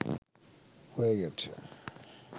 হয়ে গেছে